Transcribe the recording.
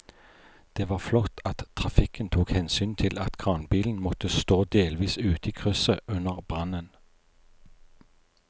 Det var flott at trafikken tok hensyn til at kranbilen måtte stå delvis ute i krysset under brannen.